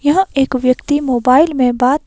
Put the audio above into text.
यहाँ एक व्यक्ति मोबाइल में बात--